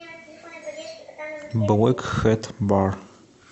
блэк хэт бар